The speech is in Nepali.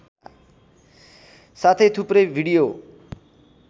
साथै थुप्रै भिडियो